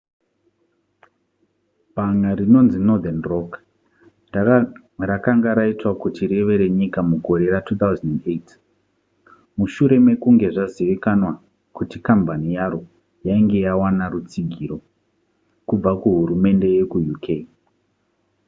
bhanga rinonzi northern rock rakanga raitwa kuti rive renyika mugore ra2008 mushure mekunge zvazivikanwa kuti kambani yaro yainge yawana rutsigiro kubva kuhurumende yekuuk